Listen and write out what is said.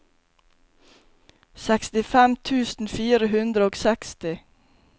sekstifem tusen fire hundre og seksti